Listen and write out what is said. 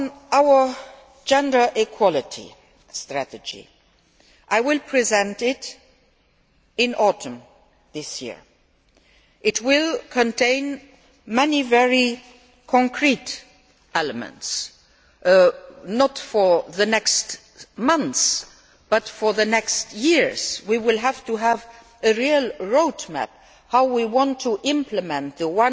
Our gender equality strategy, which I will present in the autumn of this year, will contain many very concrete elements not for the next few months but for the next years. We will have to have a real road map regarding how we want to implement the